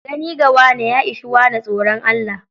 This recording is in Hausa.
Gani ga wane, ya ishi wane tsoron Allah.